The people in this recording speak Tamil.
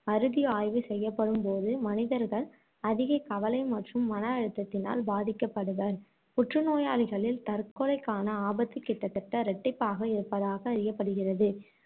அறுதி ஆய்வு செய்யப்படும்போது மனிதர்கள் அதிக கவலை மற்றும் மன அழுத்தத்தினால் பாதிக்கப்படுவர். புற்று நோயாளிகளில் தற்கொலைக்கான ஆபத்து கிட்டத்தட்ட இரட்டிப்பாக இருப்பதாக அறியப்படுகிறது